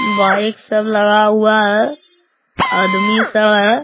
bike सब लगा हुआ है | आदमी सब है |